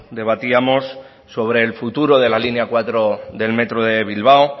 debatíamos sobre el futuro de la línea cuatro del metro de bilbao